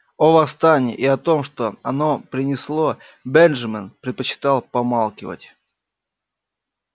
о восстании и о том что оно принесло бенджамин предпочитал помалкивать